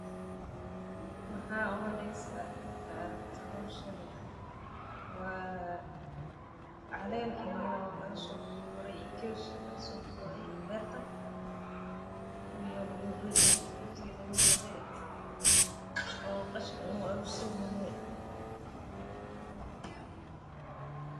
Maxaa u maleysa marki aa aragto hoshan waa calen laga sogure beerta oo meel lagu aruriye waye.